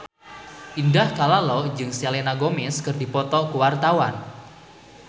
Indah Kalalo jeung Selena Gomez keur dipoto ku wartawan